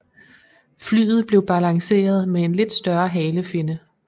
Flyet blev balanceret med en lidt større halefinne